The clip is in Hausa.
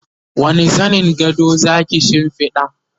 wani zanin gado Zaki shimfiɗa?